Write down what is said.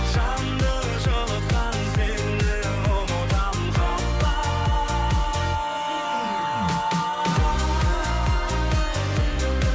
жанды жылытқан сені ұмытамын қалай